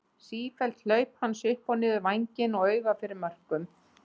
Sífelld hlaup hans upp og niður vænginn og auga fyrir mörkum.